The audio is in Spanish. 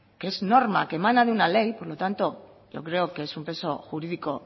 que es norma que emana de una ley por lo tanto yo creo que es un peso jurídico